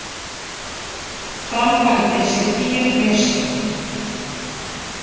Framkvæmdin sé dýr mistök